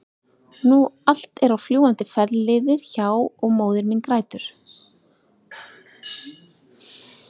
nú allt er á fljúgandi ferð liðið hjá- og móðir mín grætur.